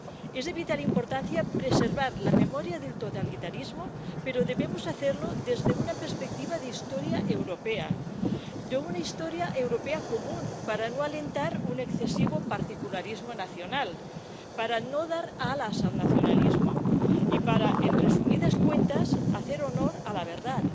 Es de vital importancia preservar la memoria del totalitarismo, pero debemos hacerlo desde una perspectiva de historia europea, de una historia europea común, para no alentar un excesivo particularismo nacional, para no dar alas al nacionalismo y para, en resumidas cuentas, hacer honor a la verdad.